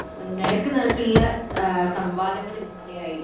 നേർക്കു നേർക്കുള്ള സംവാദങ്ങൾ ഇല്ലാതായി